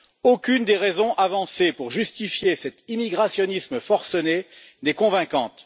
Aucune des raisons avancées pour justifier cet immigrationnisme forcené n'est convaincante.